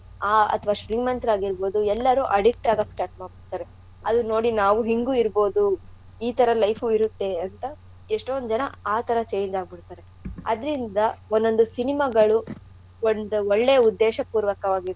ಆಹ್ ಅಥ್ವಾ ಶ್ರೀಮಂತ್ರಾಗಿರ್ಬೌದು ಎಲ್ಲಾರೂ addict ಆಗೋಕ್ start ಮಾಡ್ಬಿಡ್ತಾರೆ ಅಲ್ ನೋಡಿ ನಾವು ಹಿಂಗೂ ಇರ್ಬೌದು ಈ ತರ life ಊ ಇರುತ್ತೆ ಅಂತ ಎಷ್ಟೋಂದ್ ಜನ ಆ ತರ change ಆಗ್ಬಿಡ್ತಾರೆ. ಅದ್ರಿಂದ ಒನ್ ಒಂದು cinema ಗಳು ಒಳ್~ ಒಳ್ಳೆಯ ಉದ್ದೇಶಪೂರ್ವಕವಾಗಿರತ್ತೆ.